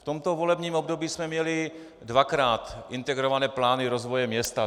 V tomto volebním období jsme měli dvakrát integrované plány rozvoje města.